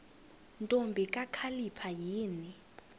ntombi kakhalipha yini